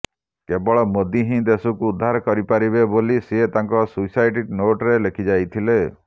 କେବଳ ମୋଦୀ ହିଁ ଦେଶକୁ ଉଦ୍ଧାର କରିପାରିବେ ବୋଲି ସେ ତାଙ୍କ ସୁଇସାଇଟ ନୋଟରେ ଲେଖି ଯାଇଥିଲେ